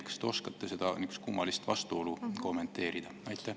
Kas te oskate seda kummalist vastuolu kommenteerida?